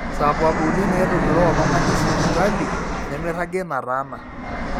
sababuni naaitogiroo oltung'ani sipitali nemeiragi nataana